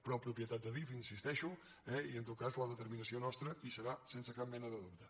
però propietat d’adif hi insisteixo eh i en tot cas la determinació nostra hi serà sense cap mena de dubte